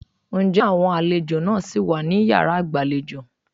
Ǹjẹ́ àwọn àlejò náà ṣì wà ní yàrá ìgbàlejò?